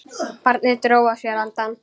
Barnið dró að sér andann.